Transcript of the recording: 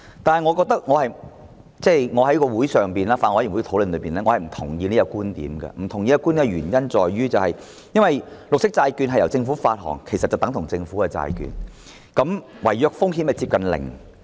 但是，我在法案委員會會議席上進行討論時，我並不認同這個觀點，因為綠色債券是由政府發行的，其實等同政府債券，違約的風險接近零。